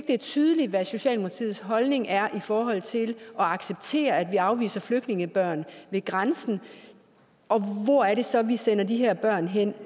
det er tydeligt hvad socialdemokratiets holdning er i forhold til at acceptere at vi afviser flygtningebørn ved grænsen og hvor er det så vi sender de her børn hen